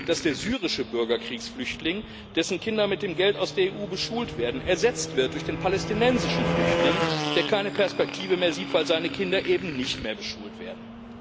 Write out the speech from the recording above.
dass der syrische Bürgerkriegsflüchtling, dessen Kinder mit dem Geld aus der EU beschult werden, durch den palästinensischen Flüchtling ersetzt wird, der keine Perspektive mehr sieht, weil seine Kinder eben nicht mehr beschult werden.